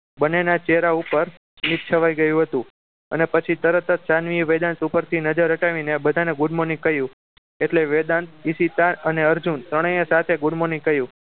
બંને ના ચહેરા પર સ્મિત છવાઈ ગયું હતું અને પછી તરત શાનવી વેદાંત ઉપરથી નજર હટાવીને બધાને good morning કહ્યું એટલે વેદાંત ઈશિતા અને અર્જુન ત્રણેય સાથે good morning કહ્યું